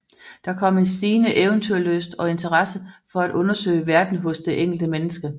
Der kom en stigende eventyrlyst og interesse for at undersøge verden hos det enkelte menneske